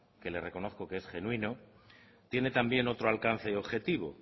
que le reconozco que es genuino tiene también otro alcance y objetivo